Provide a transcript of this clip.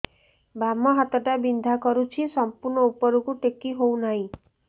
ବାମ ହାତ ଟା ବିନ୍ଧା କରୁଛି ସମ୍ପୂର୍ଣ ଉପରକୁ ଟେକି ହୋଉନାହିଁ